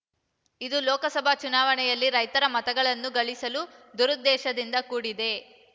ಇದು ಲೋಕಸಭಾ ಚುನಾವಣೆಯಲ್ಲಿ ರೈತರ ಮತಗಳನ್ನು ಗಳಿಸುವ ದುರುದ್ದೇಶದಿಂದ ಕೂಡಿದೆ